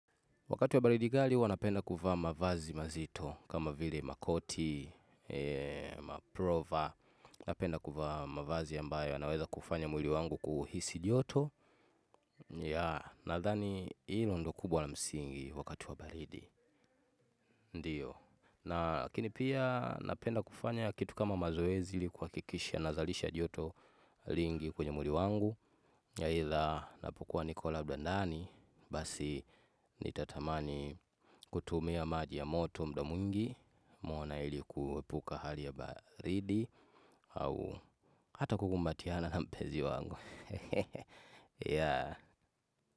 Wakati wa baridi kali huwa napenda kuvaa mavazi mazito kama vile makoti, maprova, napenda kufa mavazi ambayo yanaweza kufanya mwili wangu kuhisi joto. Ya, nadhani ilo ndo kubwa la msingi wakati wa baridi, ndiyo. Na lakini pia napenda kufanya kitu kama mazoezi ili kuwakikisha nazalisha joto lingi kwenye mwili wangu. Aidha napokua Nikola labda ndani, basi nitatamani kutumia maji ya moto muda mwingi, mwona ili kuwepuka hali ya baridi, au hata kukumbatiana na mpenzi wangu.